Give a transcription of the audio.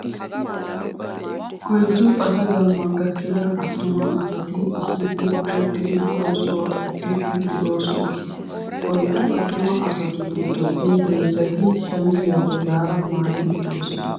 Oyddu asa gamma gakkida attuma asati issippe kushettidi oosuwaa oottiidi de"oosona. Oyddu attuma asatu giddoppe heezzati shamiziyaa bollaara maayi uttidosona.